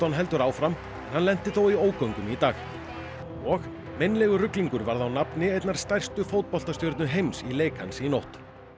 heldur áfram en hann lenti þó í ógöngum í dag og meinlegur ruglingur varð á nafni einnar stærstu heims í leik í nótt